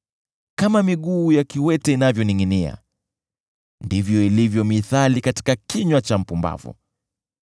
Kama miguu ya kiwete inavyoningʼinia ndivyo ilivyo mithali katika kinywa cha mpumbavu.